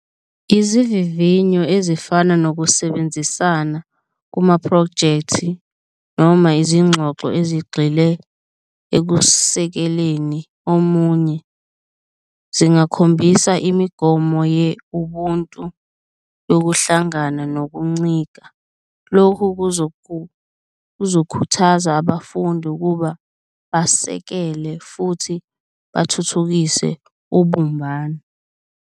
Izivivinyo ezifana nokusebenzisana kumaphrojekthi noma izingxoxo ezigxile ekusekeleni omunye, zingakhombisa imigomo ubuntu yokuhlangana nokuncika. Lokhu kuzokhuthaza abafundi ukuba basekele futhi bathuthukise ubumbano.